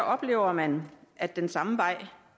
oplever man at den samme vej